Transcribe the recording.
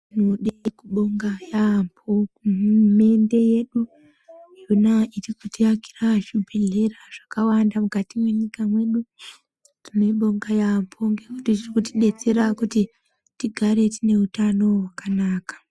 Tinode kubonga yaambo hurumende yedu yona ichikutiakira zvibhedhlera zvakawanda mukati mwenyika mwedu. Tinoibonga yaambo ngekuti zviri kutidetsera kuti tigare tine hutano hwakanaka.